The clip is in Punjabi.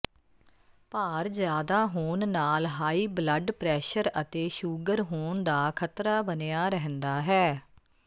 ਭਾਰ ਜਿਆਦਾ ਹੋਣ ਨਾਲ ਹਾਈ ਬਲੱਡ ਪ੍ਰੈਸ਼ਰ ਅਤੇ ਸ਼ੂਗਰ ਹੋਣ ਦਾ ਖਤਰਾ ਬਣਿਆ ਰਹਿੰਦਾ ਹੈ